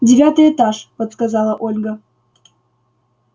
девятый этаж подсказала ольга